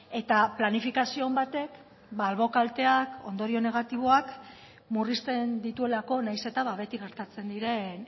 eta planifikazio on batek albo kalteak ondorio negatiboak murrizten dituelako nahiz eta beti gertatzen diren